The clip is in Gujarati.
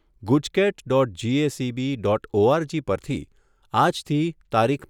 GUJCET dot GSEB dot ORG પરથી આજથી તારીખ